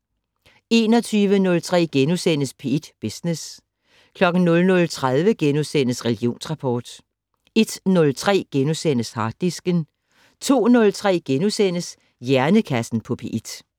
21:03: P1 Business * 00:30: Religionsrapport * 01:03: Harddisken * 02:03: Hjernekassen på P1 *